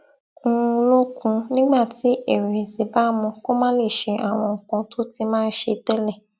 un lókun nígbà tí ìrèwèsì bá mú kó má lè ṣe àwọn nǹkan tó ti máa ń ṣe télè